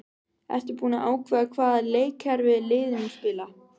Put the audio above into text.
Ertu búinn að ákveða hvaða leikkerfi liðið mun spila?